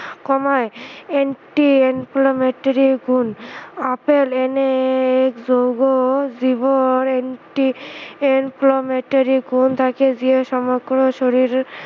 কমায় anti-inflammatory গুণ apple এনে এক জৈৱ জীৱৰ anti-inflammatory গুণ থাকে যিয়ে সমগ্ৰ শৰীৰ